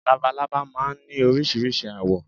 Labalábá máa ń ní oríṣiríṣi àwọ̀